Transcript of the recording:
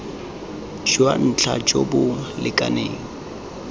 jwa ntlha jo bo lekaneng